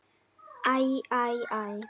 Æ, æ, æ.